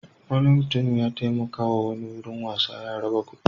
Wani mutum ya taimakawa wani wurin wasan yara da kuɗi.